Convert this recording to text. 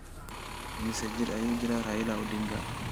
Immisa jir ayuu jiraa Raila Odinga?